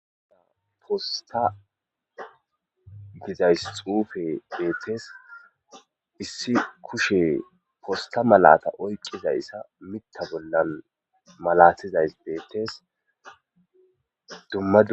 uda posta gizays xuufe beetes issi kushe posta malata oyqizayssa mitta bollan malatizays beettes duma